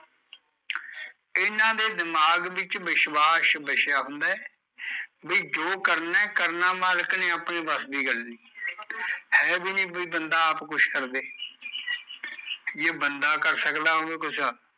ਇਹਨਾਂ ਦੇ ਦਿਮਾਗ ਵਿੱਚ ਵਿਸ਼ਵਾਸ਼ ਵਸਿਆ ਹੁੰਦਾ ਐ ਬਈ ਜੋ ਕਰਨਾ ਐ ਮਾਲਕ ਨੇ ਅਪਣੇ ਵਸ ਦੀ ਗੱਲ ਨੀ ਹੈ ਵੀ ਨੀ ਵੀ ਬੰਦਾ ਆਪ ਕੁਸ਼ ਕਰਦੇ ਜੇ ਬੰਦਾ ਕਰ ਸਕਦਾ ਹੋਊ ਕੁਸ਼